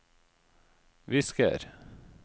visker